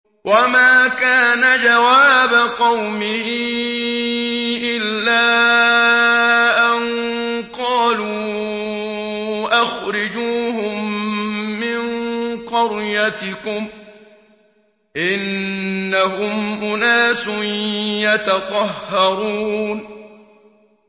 وَمَا كَانَ جَوَابَ قَوْمِهِ إِلَّا أَن قَالُوا أَخْرِجُوهُم مِّن قَرْيَتِكُمْ ۖ إِنَّهُمْ أُنَاسٌ يَتَطَهَّرُونَ